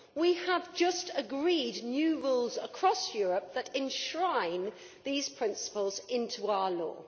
We have just agreed new rules across Europe that enshrine these principles into our law.